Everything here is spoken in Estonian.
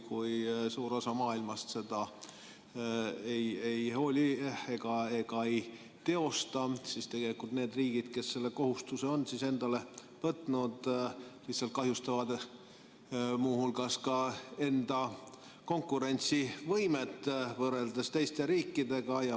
Kui suur osa maailmast sellest ei hooli, siis tegelikult need riigid, kes selle kohustuse on endale võtnud, lihtsalt kahjustavad muu hulgas ka enda konkurentsivõimet võrreldes teiste riikidega.